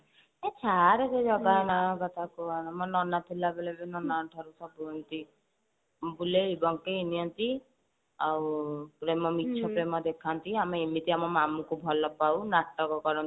ହେ ଛାଡେ ସେକଥା ମୋ ନନା ଥିଲା ବେଳେ ବି ମୋ ନନା ଠାରୁ ସବୁ ଏମତି ବୁଲେଇ ବଙ୍କେଇ ନିଅନ୍ତି ଆଉ ପ୍ରେମ ମିଛ ପ୍ରେମ ଦେଖନ୍ତି ଆମେ ଏମତିତି ଆମ ମାମୁଁ କୁ ଭଲ ପାଉ ନାଟକ କରନ୍ତି